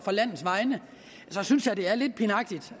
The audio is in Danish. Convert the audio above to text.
landets vegne og så synes jeg det er lidt pinagtigt